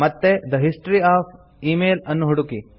ಮತ್ತೆ the history of email ಅನ್ನು ಹುಡುಕಿ